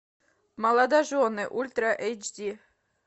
молодожены ультра эйч ди